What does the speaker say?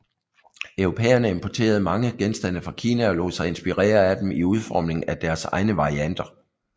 Europæerne importerede mange genstande fra Kina og lod sig inspirere af dem i udformning af deres egne varianter